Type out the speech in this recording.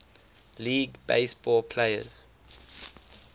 league baseball players